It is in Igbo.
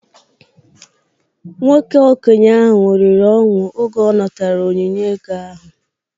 Nwoke okenye ahụ ṅụrịrị ọṅụ oge ọ natara onyinye ego ahụ